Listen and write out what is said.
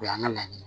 O y'an ka laɲini